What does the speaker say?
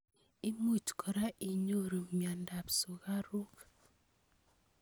Imuch kora inyoru mnyendo ab sukaruk.